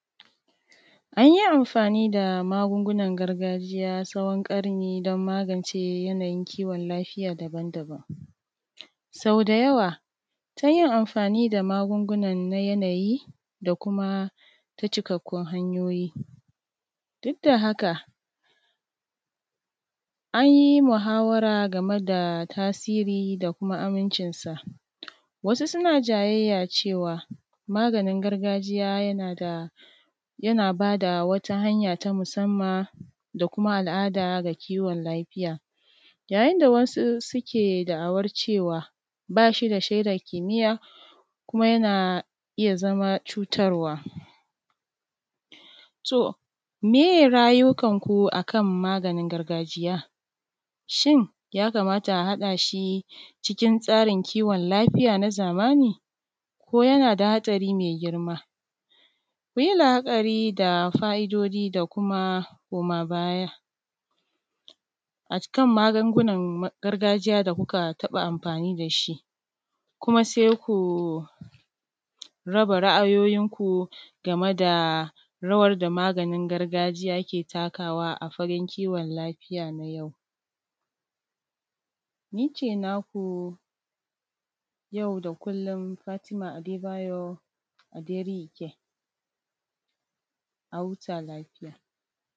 An yi amfani da magungunan gargajiya tsawon ƙarni don magance yanayin kiwon lafiya daban-daban, Sau da yawa ta yin amfa ni da magungunan na yanayi da kuma ta cikakkun hanyoyi, duk da haka an yi muhawara game da tasiri da kuma amincinsa, wasu suna jayayya cewa maganin gargajiya yana bada wata hanya ta musamman da kuma al’ada ga kiwon lafiya, yayin da wasu suke da’awar cewa, ba shi da shaidar kimiyya kuma yana iya zama cutarwa, to me ye ra’ayoyikanku a kan maganin gargajiya? Shin ya kamata a haɗa shi cikin tsarin kiwon lafiya na zamani? Ko yana da haɗari mai girma? Ku yi la’akari da fa’idodi da kuma koma bayaa a kan magungunan gargajiya da kuka taɓa amfani da shi, kuma sai ku raba ra’ayoyinku game da rawar da maganin gargajiya ke takawa a fannin kiwon lafiya a yau,